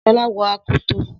Shola wọ akoto.